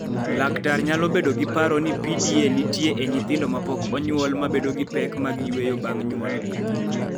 Laktar nyalo bedo gi paro ni PDA nitie e nyithindo ma pok onyuol ma bedo gi pek mag yueyo bang� nyuolgi.